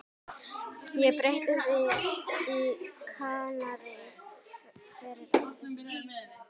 Ég breytti því í Kanarí fyrir Eddu.